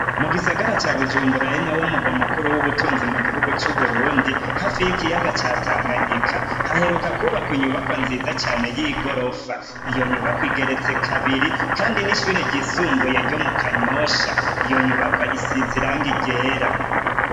Mu gisagara ca Bujumbura, ari nawo murwa mukuru w'ubutunzi mu gihugu c'Uburundi, hafi y'ikiyaga ca Tanganyika, haheruka kwubakwa inyubakwa nziza cane y'igorofa; iyo nyubakwa igeretse kabiri, kandi ni ishure ryisumbuye ryo mu Kanyosha; iyo nyubakwa isize irangi ryera.